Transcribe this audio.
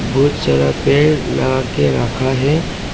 बहुत सारा पेड़ लगा के रखा है।